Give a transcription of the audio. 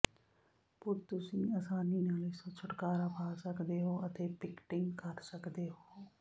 ਪਰ ਤੁਸੀਂ ਆਸਾਨੀ ਨਾਲ ਇਸ ਤੋਂ ਛੁਟਕਾਰਾ ਪਾ ਸਕਦੇ ਹੋ ਅਤੇ ਪਿਕਟਿੰਗ ਕਰ ਸਕਦੇ ਹੋ